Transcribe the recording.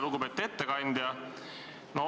Lugupeetud ettekandja!